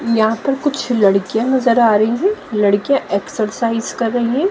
यहां पर कुछ लड़कियां नजर आ रही हैं लड़कियां एक्सरसाइज कर रही हैं।